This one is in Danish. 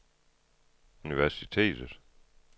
universitetet